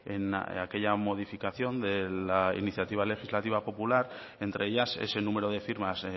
en aquella modificación de la iniciativa legislativa popular entre ellas ese número de firmas